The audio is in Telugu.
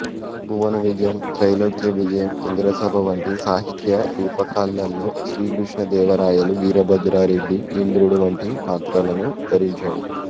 భువన విజయం త్రైలోక్యవిజయం ఇంద్రసభ వంటి సాహిత్యరూపకాలలో శ్రీకృష్ణదేవరాయలు వీరభద్రారెడ్డి ఇంద్రుడు వంటి పాత్రలను ధరించాడు